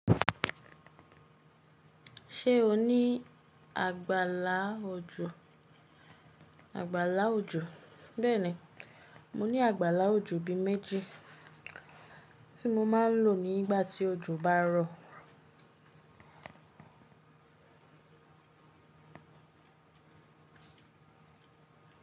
Ṣé o ní àgbàlá òjò? Àgbàlá òjò, bẹ́ẹ̀ni, mo ní àgbàlá òjò bí i méjì tí mo máa ń lò ní ìgbà tí òjò bá rọ̀.